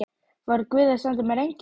Var guð að senda mér engil?